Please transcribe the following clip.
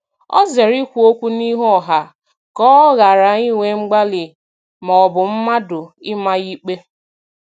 O zere ikwu okwu n'ihu ọha ka ọ ghara inwe mgbali maọbụ mmadụ ịma ya ikpe